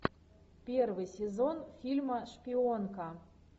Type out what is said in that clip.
первый сезон фильма шпионка